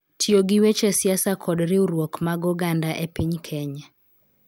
Tiyo gi weche siasa kod riwruok mag oganda e piny Kenya